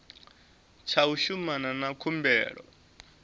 tsha u shumana na khumbelo